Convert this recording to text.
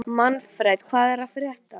Manfred, hvað er að frétta?